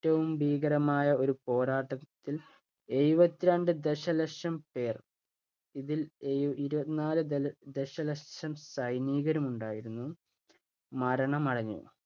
റ്റവും ഭീകരമായ ഒരു പോരാട്ടത്തിൽ എഴുപത്തി രണ്ടു ദശലക്ഷം പേർ ഇതിൽ ഇഇരുപത്ത് നാല് ദശലക്ഷം സൈനികരുമുണ്ടായിരുന്നു. മരണമടഞ്ഞു